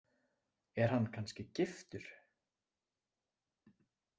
Er hann kannski giftur?